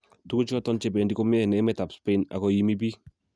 "Tuguchuton che bendi komie en emetab Spain, ago iimi biik."